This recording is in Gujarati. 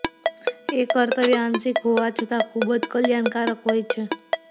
એ કર્તવ્ય આંશિક હોવા છતાં ખૂબ જ કલ્યાણકારક હોય છે